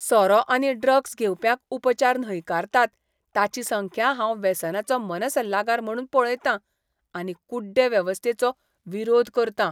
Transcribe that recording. सोरो आनी ड्रग्स घेवप्यांक उपचार न्हयकारतात ताची संख्या हांव वेसनाचो मनसल्लागार म्हणून पळयतां आनी कुड्डे वेवस्थेचो विरोध करता.